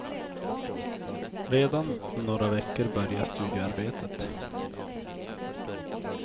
Redan om några veckor börjar studioarbetet.